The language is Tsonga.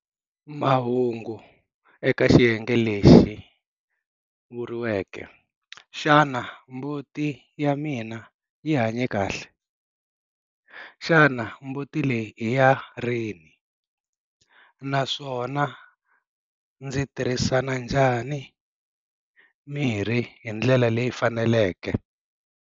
Mahungu eka xiyenge lexi vuriweke, Xana mbuti ya mina yi hanye kahle?, Xana mbuti leyi i ya rini? naswona Xana ndzi tirhisana njhani mirhi hi ndlela leyi fanelekeke?